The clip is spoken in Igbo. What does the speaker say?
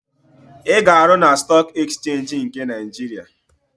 Ị ga-arụ na Stọọk Ekchenji nke Naịjiria?